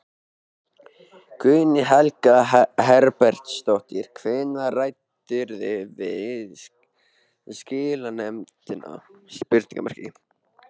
Guðný Helga Herbertsdóttir: Hvenær ræddirðu við skilanefndina?